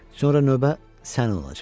Sonra növbə sənin olacaq.